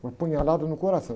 Uma apunhalada no coração.